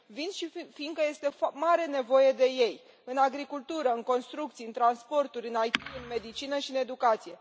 Vin și fiindcă este mare nevoie de ei în agricultură, în construcții, în transporturi, în IT, în medicină și în educație.